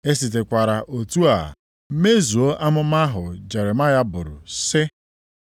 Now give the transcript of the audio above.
E sitekwara otu a mezuo amụma ahụ Jeremaya buru sị,